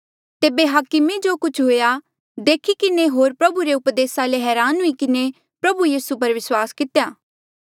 तेबे हाकमे जो कुछ हुएया देखी किन्हें होर प्रभु रे उपदेसा ले हरान हुई किन्हें प्रभु यीसू पर विस्वास कितेया